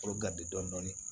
Olu garidi dɔɔnin